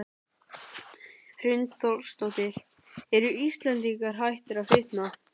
Hrund Þórsdóttir: Eru Íslendingar hættir að fitna?